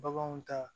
Baganw ta